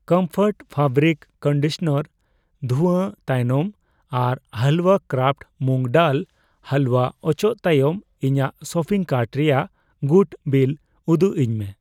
Comfort fabric conditioner ᱫᱷᱩᱭᱟᱹ ᱛᱟᱭᱱᱚᱢ ᱟᱨ ᱦᱟᱞᱣᱟ ᱠᱨᱟᱯᱷᱴ ᱢᱩᱜ ᱰᱟᱞ ᱦᱟᱞᱣᱟ ᱚᱪᱚᱜ ᱛᱟᱭᱚᱢ ᱤᱧᱟᱜ ᱥᱚᱯᱤᱝ ᱠᱟᱨᱴ ᱨᱮᱭᱟᱜ ᱜᱩᱴ ᱵᱤᱞᱞ ᱩᱫᱩᱜᱟᱹᱧ ᱢᱮ ᱾